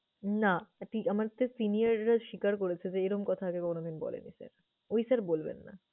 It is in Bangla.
নাহ! এটি আমাদের seniour রা স্বীকার করেছে যে, এরম কথা আগে কোনোদিন বলেনি sir, ওই sir বলবেন না।